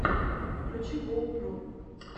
включи гоу про